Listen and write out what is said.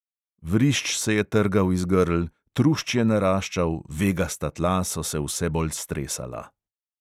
Vrišč se je trgal iz grl, trušč je naraščal, vegasta tla so se vse bolj stresala.